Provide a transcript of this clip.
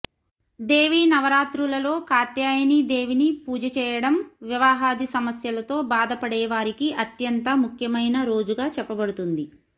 దేవీ నవ రాత్రులలో కాత్యాయని దేవీని పూజ చేయడం వివాహాది సమస్యలతో భాదపడేవారికి అత్యంత ముఖ్యమైన రోజుగా చెప్పబడుతుంది